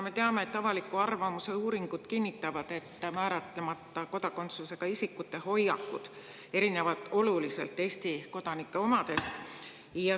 Me teame, et avaliku arvamuse uuringud kinnitavad, et määratlemata kodakondsusega isikute hoiakud erinevad oluliselt Eesti kodanike omadest.